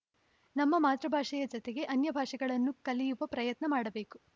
ನಮ್ಮ ಮಾತೃಭಾಷೆಯ ಜತೆಗೆ ಅನ್ಯಭಾಷೆಗಳನ್ನು ಕಲಿಯುವ ಪ್ರಯತ್ನ ಮಾಡಬೇಕು